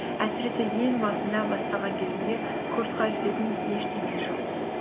әсіресе ең басында бастаған кезіңде курсқа жететін ештеңе жоқ